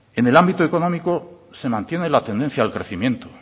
en el ámbito económico se mantiene la tendencia al crecimiento